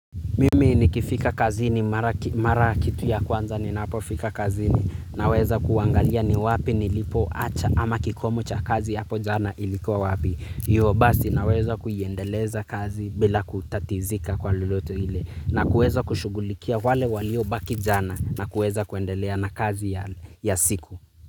Mimi nikifika kazini mara kitu ya kwanza ninapofika kazini naweza kuangalia ni wapi nilipoacha ama kikomo cha kazi hapo jana ilikuwa wapi. Ndio basi naweza kuiendeleza kazi bila kutatizika kwa loloto ile na kuweza kushugulikia wale waliobaki jana na kuweza kuendelea na kazi ya siku.